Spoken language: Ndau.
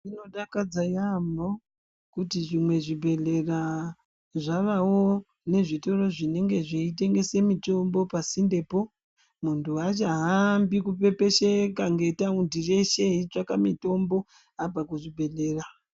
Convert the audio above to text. Zvinodakadza yaamho kuti zvimwe zvibhedhlera zvavawo nezvitoro zvinenge zveitengese mitombo pasindepo. Muntu haachahambi kupepesheka ngetaundi reshe eitsvaka mitombo abva kuzvibhedhlera.